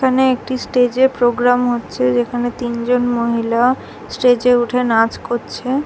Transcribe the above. এখানে একটি স্টেজে প্রোগ্রাম হচ্ছে যেখানে তিনজন মহিলা স্টেজ -এ উঠে নাচ করছে।